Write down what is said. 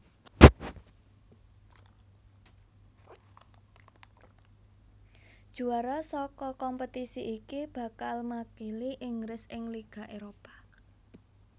Juara saka kompetisi iki bakal makili Inggris ing Liga Éropah